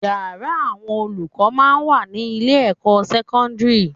Yàrá àwọn olùkọ́ máa ń wà ní ilé-ẹ̀kọ́ sẹ́kọ́ndírì